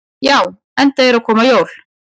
Já, enda eru að koma jól.